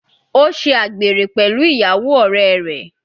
Ó ṣe àgbèrè pẹ̀lú ìyàwó ọ̀rẹ́ rẹ̀.